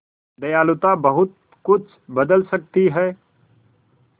दयालुता बहुत कुछ बदल सकती है